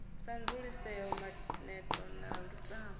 sa dzulisea maneto na lutamo